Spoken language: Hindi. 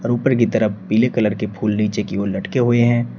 और ऊपर की तरफ पीले कलर के फूल नीचे की ओर लटके हुए हैं।